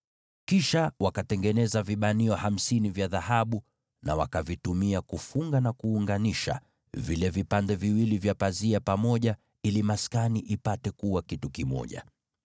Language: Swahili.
Kisha wakatengeneza vifungo hamsini vya dhahabu, na wakavitumia kufunga na kuunganisha zile fungu mbili za mapazia pamoja ili maskani ipate kuwa kitu kimoja.